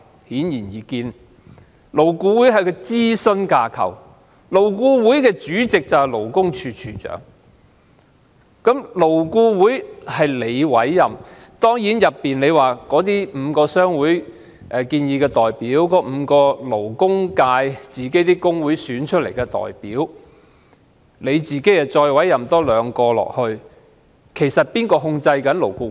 顯而易見，勞顧會是一個諮詢架構，主席是勞工處處長，而勞顧會成員是政府委任的，雖然當中包括5名由主要僱主商會提名的委員，以及5名由僱員工會選出的委員，加上兩名由局長委任的委員，但其實誰控制勞顧會呢？